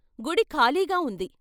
గుడి ఖాళీగా ఉంది.